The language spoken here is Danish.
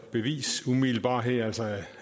bevisumiddelbarhed altså